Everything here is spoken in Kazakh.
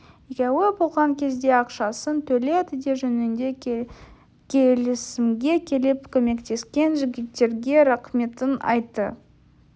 екеуі болған кезде ақшасын төледі де жөніңде келісімге келіп көмектескен жігіттерге рақметін айтты